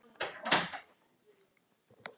Soffía og synir.